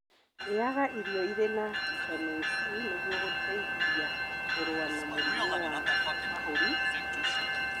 Rĩaga irio irĩ na vitameni C nĩguo gũteithia kũrũa na mũrimu wa mahũri na homa